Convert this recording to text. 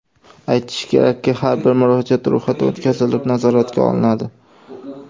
Aytish kerakki, har bir murojaat ro‘yxatdan o‘tkazilib, nazoratga olinadi.